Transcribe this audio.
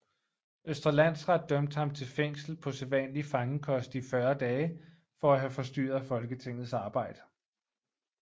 Østre Landsret dømte ham til fængsel på sædvanlig fangekost i 40 dage for at have forstyrret Folketingets arbejde